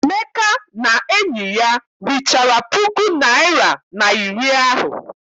Emeka na enyi ya richara puku naịra na iri ahụ.